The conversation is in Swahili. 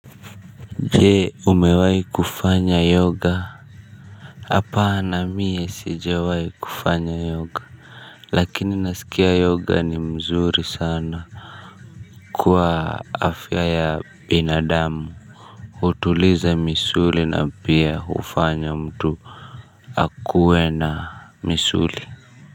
Je, umewahi kufanya yoga. Hapana mie sijawahi kufanya yoga. Lakini nasikia yoga ni mzuri sana. Kwa afya ya binadamu hutuliza misuli na pia hufanya mtu akuwe na misuli.